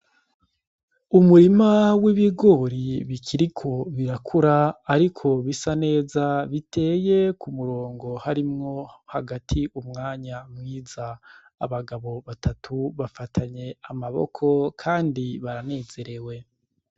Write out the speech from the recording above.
Umurima w'ibigori bikiriko birakura, ariko bisa neza biteye ku murongo harimwo hagati umwanya mwiza abagabo batatu bafatanye amaboko, kandi baranezerewe.